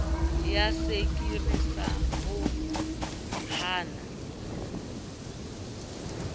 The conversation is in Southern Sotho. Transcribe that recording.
ya sekiri sa ho hama